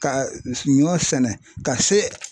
Ka ɲɔ sɛnɛ ka se